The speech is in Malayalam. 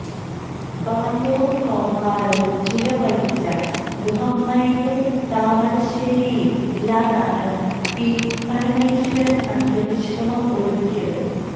ബാല്യവും കൌമാരവും ചിലവഴിച്ച മുഹമ്മയിലെ താമരശേരിയിൽ ഇല്ലത്താണ് പി പരമേശ്വരന് അന്ത്യവിശ്രമം ഒരുക്കിയത്